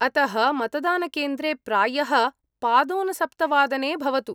अतः मतदानकेन्द्रे प्रायः पादोनसप्तवादने भवतु।